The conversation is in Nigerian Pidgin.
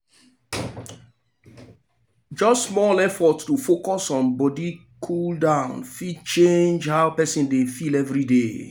just small effort to focus on body cool-down fit change how person dey feel everyday.